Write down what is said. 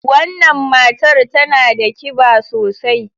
Wannan matar tana da kiba sosai.